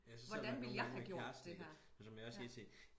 Hvordan ville jeg have gjort det her